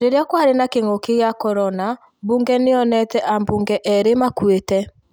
Rĩrĩra kwarĩ na kĩngũki kĩa corona bunge nĩonete abunge erĩĩ makũĩte